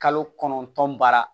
Kalo kɔnɔntɔn baara